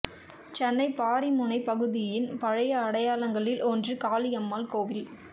சென்னை பாரிமுனைப் பகுதியின் பழைய அடையாளங்களில் ஒன்று காளிகாம்பாள் கோவில்